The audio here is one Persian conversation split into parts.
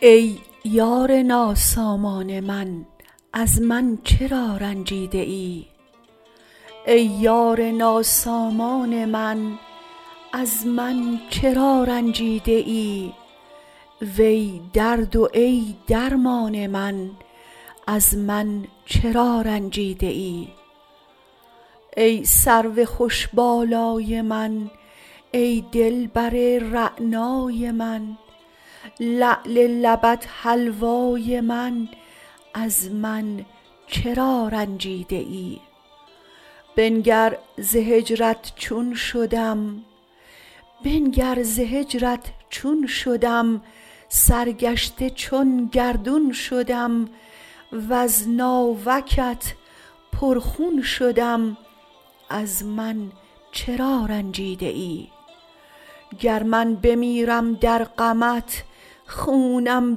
ای یار ناسامان من از من چرا رنجیده ای وی درد و ای درمان من از من چرا رنجیده ای ای سرو خوش بالای من ای دل بر رعنای من لعل لبت حلوای من از من چرا رنجیده ای بنگر ز هجرت چون شدم سرگشته چون گردون شدم وز ناوکت پرخون شدم از من چرا رنجیده ای گر من بمیرم در غمت خونم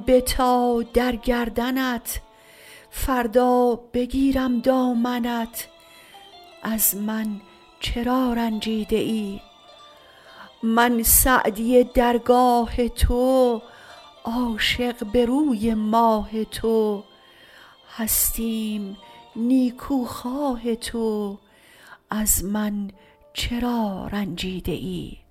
بتا در گردنت فردا بگیرم دامنت از من چرا رنجیده ای من سعدی درگاه تو عاشق به روی ماه تو هستیم نیکوخواه تو از من چرا رنجیده ای